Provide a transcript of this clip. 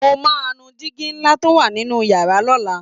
Mo máa nu digi ńlá tó wà nínú yàrá lọ́la